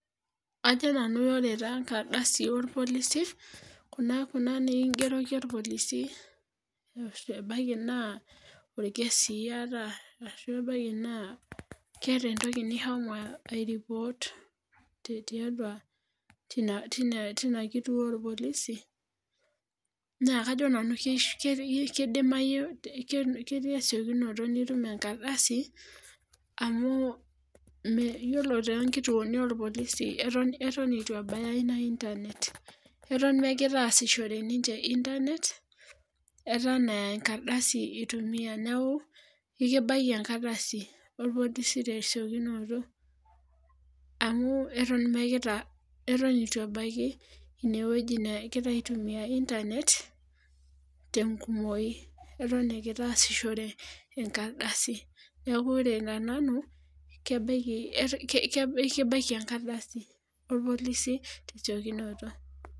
ajo nanu ore taa enkardasi olpolisi, kuna nikigeroki olpolisi, ebaiki naa orkesi iyata. ashu ebaiki naa keeta entoki nishomo ai report tiatua. teina kituo olpolisi, naa kajo nanu kidimayu, ketii esiokinoto nitum enkardasi, amu iyiolo too nkituoni olpolisi eton eitu ebaya ina inernet eton megira aasishore ninche internet eton e enkardasi itumia, neeku ekibaiki enkardasi olpolisi te siokinoto. amu eton eitu ebaiki ine wueji negirae aitumia inernet te nkumoi. eton egira aasishore enkardasi. neku ore tenanu, ekibaiki enkardasi olpolisi te siokinoto.